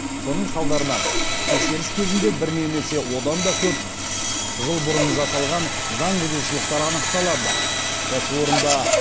сонын салдарынан тексеріс кезінде бір немесе одан да көп жыл бұрын жасалған заң бұзушылықтары анықталады кәсіпорында